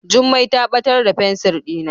Jummai ta batar da fensir dina.